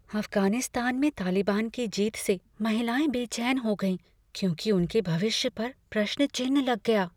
अफगानिस्तान में तालिबान की जीत से महिलाएँ बेचैन हो गईं क्योंकि उनके भविष्य पर प्रश्नचिह्न लग गया।